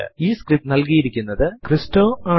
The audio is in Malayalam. ഈ സ്ക്രിപ്റ്റ് നൽകിയിരിക്കുന്നത് സൌമ്യ ആണ്